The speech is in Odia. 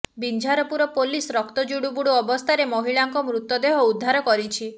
ବିଞ୍ଝାରପୁର ପୋଲିସ ରକ୍ତ ଜୁଡୁବୁଡୁ ଅବସ୍ଥାରେ ମହିଳାଙ୍କ ମୃତଦେହ ଉଦ୍ଧାର କରିଛି